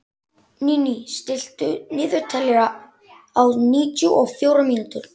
Níní, stilltu niðurteljara á níutíu og fjórar mínútur.